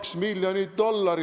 Aitäh, lugupeetud minister!